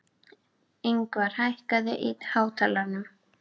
Yngvar, hækkaðu í hátalaranum.